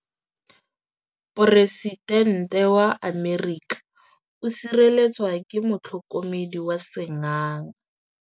Poresitêntê wa Amerika o sireletswa ke motlhokomedi wa sengaga.